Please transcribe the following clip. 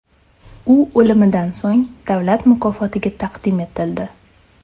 U o‘limidan so‘ng davlat mukofotiga taqdim etildi.